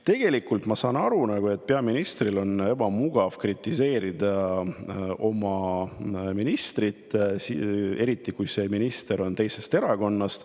Tegelikult saan ma aru, et peaministril on ebamugav kritiseerida oma ministrit, eriti kui see minister on teisest erakonnast.